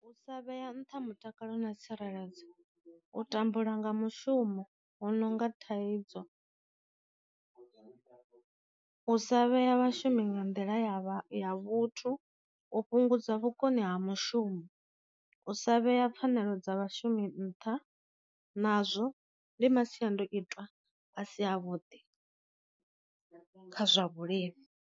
U sa vhea nṱha mutakalo na tsireledzo, u tambula nga mushumo hu nonga thaidzo, u sa vhea vhashumi nga nḓila yavha ya vhuthu, u fhungudza vhukoni ha mushumi, u sa vhea pfhanelo dza vhashumi nṱha. Nazwo ndi masiandoitwa a si a vhuḓi kha zwa vhulimi.